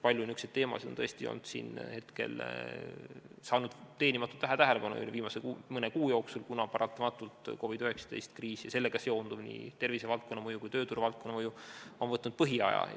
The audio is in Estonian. Palju niisuguseid teemasid on saanud teenimatult vähe tähelepanu viimase mõne kuu jooksul, kuna paratamatult COVID-19 kriis ja sellega seonduv, nii mõju tervisevaldkonnale kui ka tööturuvaldkonnale on võtnud põhiaja.